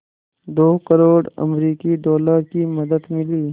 दो करोड़ अमरिकी डॉलर की मदद मिली